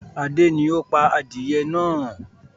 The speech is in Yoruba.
Adé ni ó pá adìyẹ náà.